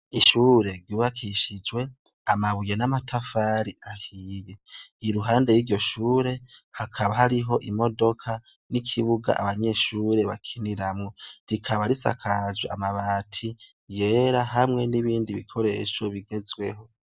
Ishure ryubakishijwe amabuye namatafari ahiye iruhande yiryo shure hakaba hariho imodoka nikibuga abanyeshure bakiniramwo rikaba risakajwe amabati yera hamwe nibindi bikoresho bigezweho.